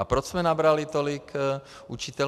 A proč jsme nabrali tolik učitelů?